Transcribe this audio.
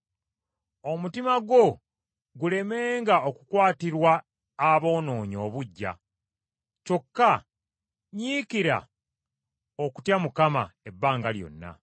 Omutima gwo gulemenga okukwatirwa aboonoonyi obuggya, kyokka nyiikira okutya Mukama ebbanga lyonna.